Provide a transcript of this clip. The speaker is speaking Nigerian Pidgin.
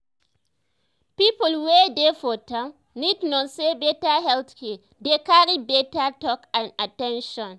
people wey dey for town need know say better health care dey carry better talk and at ten tion.